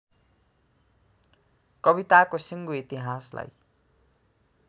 कविताको सिङ्गो इतिहासलाई